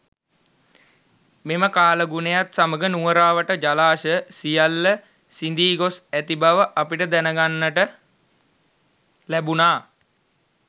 මෙම කාලගුණයත් සමග නුවර අවට ජලාශ සියල්ල සිඳී ගොස් ඇති බව අපට දැන ගන්නට ලැබුණා.